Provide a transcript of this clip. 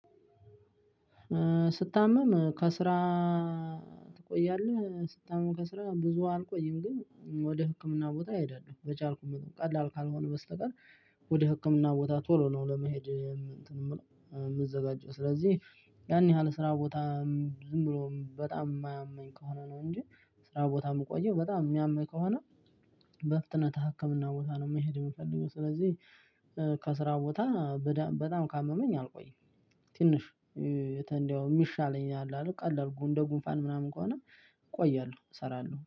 ስታመም ከስራ ትቆያለህ ስታመም ከስራ ብዙ አልቆይም ግን ወደ ህክምና ቦታ እሄዳለሁ በቻልኩት ቀላል ካልሆነ በስተቀር። ወደ ህክምና ቦታ ቶሎ ነው ለመሄድ እንትን የምለው የምዘጋጅ ስለዚህ ያን ያህል ስራ ቦታ። ዝም ብሎም በጣም የማያመኝ ከሆነ ነው እንጂ። ስራ ቦታ የምቆየው በጣም የሚያመኝ ከሆነ። በፍጥነት ህክምና ቦታ ነው መሄድ የምፈልገው ስለዚህ። ከስራ ቦታ በዳ በጣም ካመመኝ አልቆይም። ትንሽ የተ እንደው የሚሻለኝ አለ አይደል ቀላል እንደ ጉንፋን ምናምን ከሆነ። እቆያለሁ እሰራለሁ